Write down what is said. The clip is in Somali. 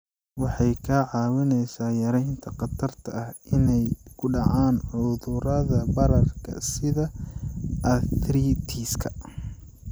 Waxay kaa caawinaysaa yaraynta khatarta ah inay ku dhacaan cudurrada bararka sida arthritis-ka.